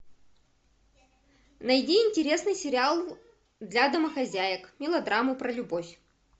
найди интересный сериал для домохозяек мелодраму про любовь